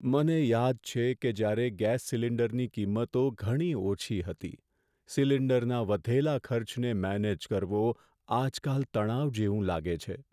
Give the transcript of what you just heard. મને યાદ છે કે જ્યારે ગેસ સિલિન્ડરની કિંમતો ઘણી ઓછી હતી. સિલિન્ડરના વધેલા ખર્ચને મેનેજ કરવો આજકાલ તણાવ જેવું લાગે છે.